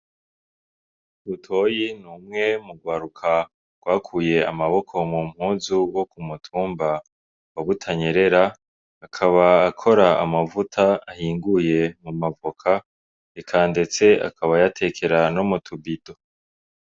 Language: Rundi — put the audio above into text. Butoyi ni umwe mu rwaruka rwakuye amaboko mu mpuzu rwo ku mutumba wa Butanyerera. Akaba akora amavuta ahinguye mu mavoka, eka ndetse akaba ayatekera no mu tubido.